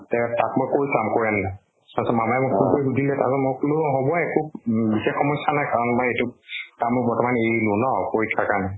তে তাক মই কৈ চাম কৈ আনিলে। তাৰ পিছত মামাই মোক phone কৰি সুধিলে, তাৰ পিছত মই কলো অ হʼব একো বিশেষ সমস্য়া নাই। কাম বা এইটো কামো বৰ্তমান এৰলো ন পৰীক্ষাৰ কাৰণে।